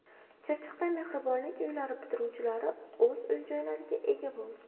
Chirchiqda Mehribonlik uylari bitiruvchilari o‘z uy-joylariga ega bo‘ldi.